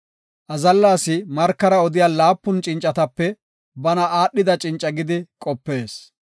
Azalla asi markara odiya laapun cincatape bana aadhida cinca gidi qopees.